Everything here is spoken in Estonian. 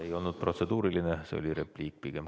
Ei olnud protseduuriline, see oli repliik pigem.